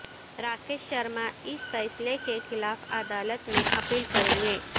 راکیش شرما اس فیصلے کے خلاف عدالت میں اپیل کریں گے